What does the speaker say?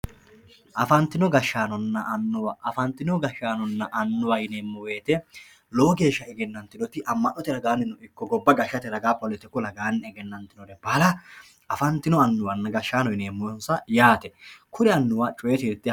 afantino gashshaanonna annuwa afantino gashshaanonna annuwa yineemmo woyiite lowo geeshsha egennantinoti amma'note ragaano ikko gobba gashshate ragaanni politiku ragaanni egennantinore baala afantino annuwanna gashshaano yineemmonsa yaate kuri annuwa.